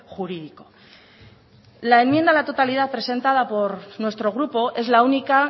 jurídico la enmienda a la totalidad presentada por nuestro grupo es la única